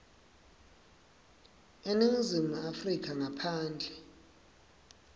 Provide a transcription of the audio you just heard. eningizimu afrika ngaphandle